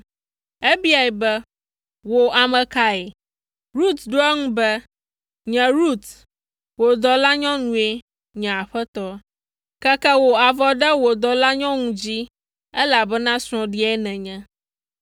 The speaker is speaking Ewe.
Ebiae be, “Wò ame kae?” Rut ɖo eŋu be, “Nye Rut, wò dɔlanyɔnue, nye aƒetɔ. Keke wò avɔ ɖe wò dɔlanyɔnu dzi, elabena srɔ̃ɖia nènye.”